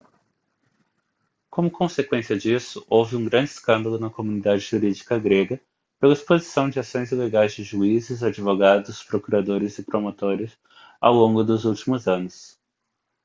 como consequência disso houve um grande escândalo na comunidade jurídica grega pela exposição de ações ilegais de juízes advogados procuradores e promotores ao longo dos últimos anos